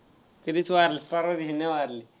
कधीच वारलेत परवा दिवशी नाही वारले.